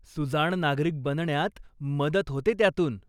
सुजाण नागरिक बनण्यात मदत होते त्यातून.